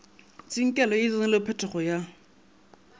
tsinkelo ye e tseneletpego ya